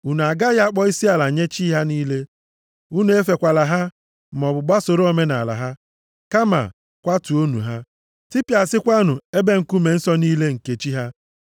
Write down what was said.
Unu agaghị akpọ isiala nye chi ha niile. Unu efekwala ha, maọbụ gbasoro omenaala ha. Kama, kwatuonụ ha. Tipịasịakwanụ ebe nkume nsọ + 23:24 Ebe a manyere ogidi, ka e ji amata ebe bụ ebe ịchụ aja ha. niile nke chi ha.